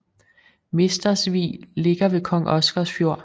Mestersvig ligger ved Kong Oscars Fjord